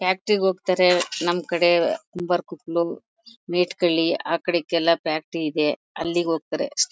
Factory ಗ್ ಹೋಗ್ತಾರೆ ನಮ್ ಕಡೆ ಕುಂಬಾರ್ಕೊಪ್ಲು ಮೆಡ್ ಕಳಿ ಅಕಾಡಿಕೆಲ್ಲ ಫ್ಯಾಕ್ಟರಿ ಇದೆ. ಅಲ್ಲಿಗ್ ಹೋಗ್ತಾರೆ ಅಷ್ಟೇ.